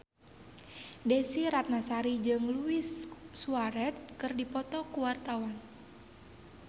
Desy Ratnasari jeung Luis Suarez keur dipoto ku wartawan